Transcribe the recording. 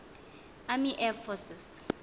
army air forces